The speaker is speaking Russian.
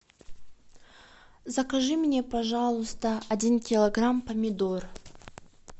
закажи мне пожалуйста один килограмм помидор